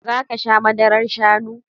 Zaka sha Madarar Shannu?